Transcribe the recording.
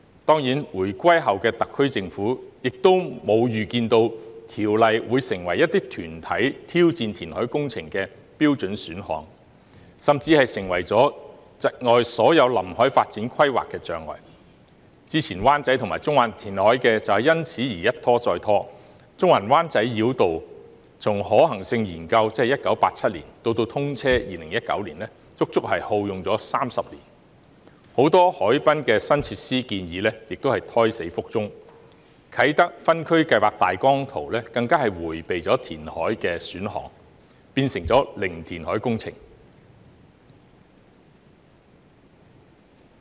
當然，回歸後的特區政府亦沒有預料到《條例》會成為一些團體挑戰填海工程的標準選項，甚至成為了窒礙所有臨海發展規劃的障礙，之前灣仔和中環的填海計劃，便因而一拖再拖，中環灣仔繞道從可行性研究直至通車，足足耗用了30年，很多海濱新設施的建議亦胎死腹中，啟德分區計劃大綱圖更迴避了填海的選項，變成零填海工程。